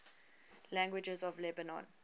languages of lebanon